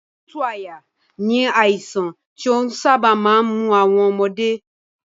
Òtútù àyà ni àìsàn tí ó sábà máa ń mú àwọn ọmọdé